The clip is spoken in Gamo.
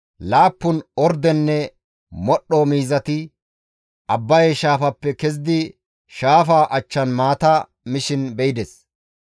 laappun ordenne modhdho miizati Abbaye shaafappe kezidi shaafaa achchan maata mishin be7ides.